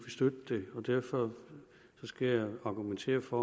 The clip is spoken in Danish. støtte det derfor skal jeg argumentere for